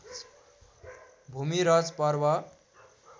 भूमिरज पर्व